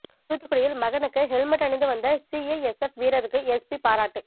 தூத்துக்குடியில் மகனுக்கு ஹெல்மெட் அணிந்து வந்த சிஐஎஸ்எப் வீரருக்கு எஸ்பி பாராட்டு